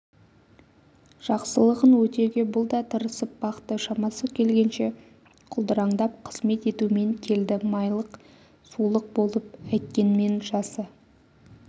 жақсылығын өтеуге бұл да тырысып бақты шамасы келгенше құлдыраңдап қызмет етумен келді майлық-сулық болып әйткенмен жасы